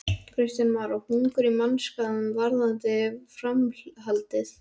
Kristján Már: Og hugur í mannskapnum varðandi framhaldið?